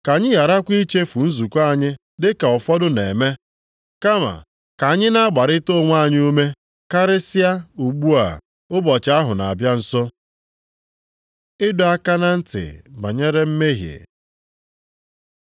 Ka anyị gharakwa ichefu nzukọ anyị dị ka ụfọdụ na-eme, kama ka anyị na-agbarịta onwe anyị ume, karịsịa, ugbu a ụbọchị ahụ na-abịa nso. Ịdọ aka na ntị banyere mmehie